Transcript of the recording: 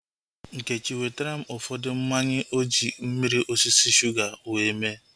Nkechi wetara m ụfọdụ mmanya oji mmiri osisi shuga wee mee